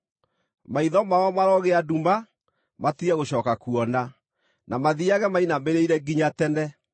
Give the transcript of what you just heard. Maitho mao marogĩa nduma, matige gũcooka kuona, na mathiiage mainamĩrĩire nginya tene.”